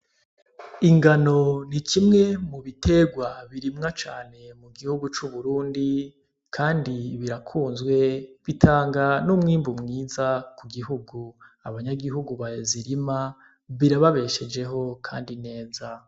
Ingano n'ikimwe mubiterwa birimwa cane mugihugu c'Uburundi ,kandi birakunzwe bitanga n'umwimbu mwiza kugihugu, abanyagihugu bazirima ,birababeshejeho kandi neza.